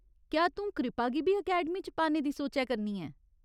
क्या तूं कृपा गी बी अकैडमी च पाने दी सोचै करनी ऐं ?